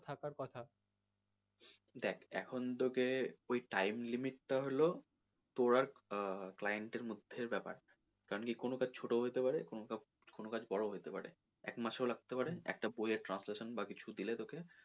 দেখ এখন তোকে ওই time limit টা হলো তোর আর আহ client এর মধ্যের ব্যাপার কারন কি কোনো কাজ ছোটো হতে পারে কোনো কাজ বড়ো ও হইতে পারে এক মাস ও লাগতে পারে একটা project translation বা কিছু দিলে তোকে,